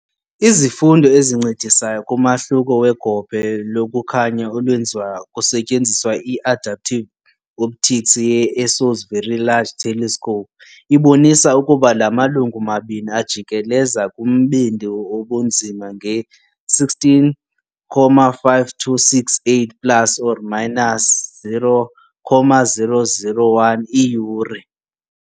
Izifundo ezincedisayo kumahluko wegophe lokukhanya olwenziwa kusetyenziswa i-adaptive optics ye -ESO 's Very Large Telescope ibonisa ukuba la malungu mabini ajikeleza kumbindi wobunzima nge-16.5268 ± 0.0001 iiyure.